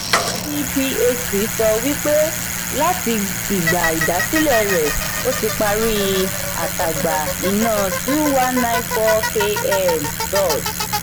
ndphc sọ wí pé láti ìgba ìdásílẹ̀ rẹ̀ ó ti parí àtagbà iná two one nine four km dot